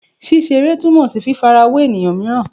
Ṣiṣere tumọ si fifarawe eniyan miiran